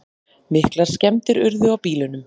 Miklar skemmdir urðu á bílunum